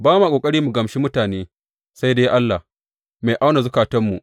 Ba ma ƙoƙari mu gamshi mutane sai dai Allah, mai auna zukatanmu.